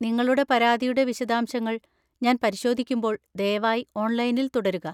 നിങ്ങളുടെ പരാതിയുടെ വിശദാംശങ്ങൾ ഞാൻ പരിശോധിക്കുമ്പോൾ ദയവായി ഓൺലൈനിൽ തുടരുക.